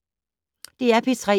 DR P3